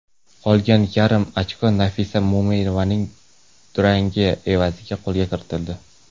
Qolgan yarim ochko Nafisa Mo‘minovaning durangi evaziga qo‘lga kiritildi.